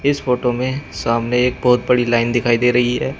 इस फोटो में सामने एक बहुत बड़ी लाईन दिखाई दे रही है।